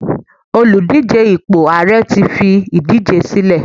Oludije ipo ààrẹ ti fi idije sílẹ